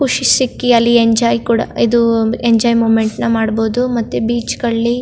ಖುಷಿ ಸಿಕ್ಕಿಅಲ್ಲಿ ಎಂಜಾಯ್ ಕೂಡ ಇದು ಎಂಜಾಯ್ ಮೂವ್ಮೆಂಟ್ ನ್ ಮಾಡಬಹುದು ಮತ್ತೆ ಬೀಚ್ ಗಳ್ಳಿ --